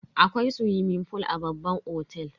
Akwai swimming fool a babban otel.